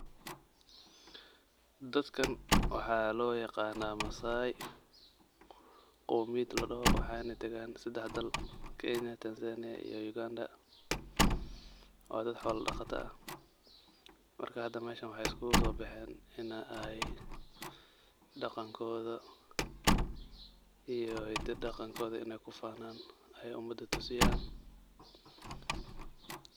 Dadkan waxa lo yaqana maasai, qomiiyaad ladaho wexey naa dagaan sadex daal kenya, tanzania iyo uganda, waa dad xola dhaqata ah marka hada isku so bexeen ina ay daqaan koda iyo hidiyo iyo daqaan koda kufanaan aye umada tusiyaan.